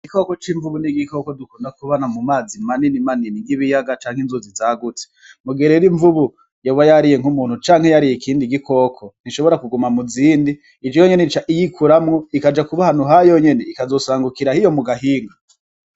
Igikoko c'imvubu n'igikoko dukunda kubona mu mazi manini manini nkibiyaga canke inzuzi zagutse. Mugihe rero imvubu yoba yariye nkumuntu canke yariye ikindi gikoko ntishobora kuguma muzindi. Ivyo yonyene ica yikuramwo ikaja kuba ahantu hayonyene ikazosangukira hiyo mugahanga.